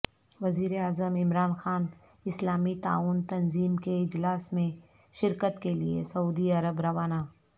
وزیر اعظم عمران خان اسلامی تعاون تنظیم کے اجلاس میں شرکت کیلئے سعودی عرب روانہ